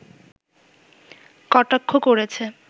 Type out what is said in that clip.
কটাক্ষ করেছে